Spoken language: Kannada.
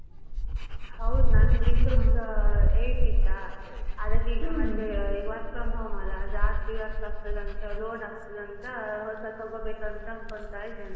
ಹೌದ್ ನಂದ್ Windows eight ಇತ್ತಾ ಅದಕ್ಕೀಗ ಮತ್ತೆ work from home ಅಲ್ಲ ಜಾಸ್ತಿ work ಆಗ್ತದಾ ಅಂತ load ಆಗ್ತದ ಅಂತ ಹೊಸಾದ್ ತಗೋಬೇಕ್ ಅಂತ ಅನ್ಕೊಂತ ಇದೇನೇ.